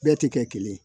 Bɛɛ tɛ kɛ kelen ye